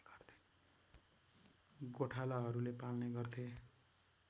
गोठालाहरूले पाल्ने गर्थे